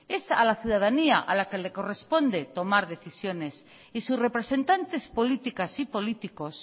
es a la ciudadanía a la que le corresponde tomar decisiones y sus representantes políticas y políticos